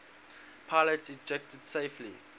pilots ejected safely